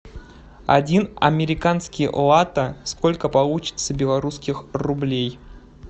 один американский лата сколько получится белорусских рублей